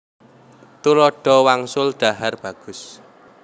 Tuladha wangsul dhahar bagus